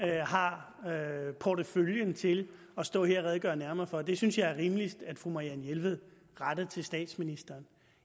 jeg har porteføljen til at stå her og redegøre nærmere for det synes jeg er rimeligst at fru marianne jelved retter til statsministeren